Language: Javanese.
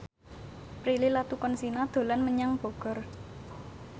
Prilly Latuconsina dolan menyang Bogor